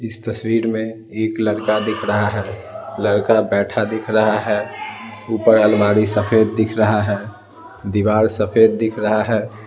इस तस्वीर में एक लड़का दिख रहा है लड़का बैठा दिख रहा है ऊपर अलमारी सफेद दिख रहा है दीवार सफेद दिख रहा है ।